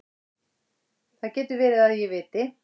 Það getur verið að ég viti.